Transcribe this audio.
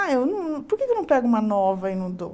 Ah, eu não por que eu não pego uma nova e não dou?